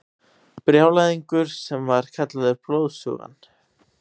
Brjálæðingur sem var kallaður Blóðsugan.